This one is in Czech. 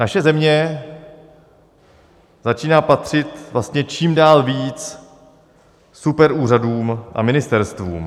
Naše země začíná patřit vlastně čím dál víc superúřadům a ministerstvům.